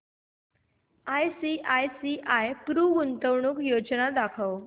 ICICI Pru गुंतवणूक योजना दाखव